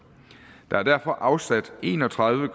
der er derfor afsat en og tredive